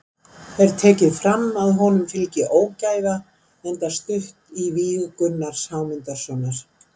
Er tekið fram að honum fylgi ógæfa enda stutt í víg Gunnars Hámundarsonar.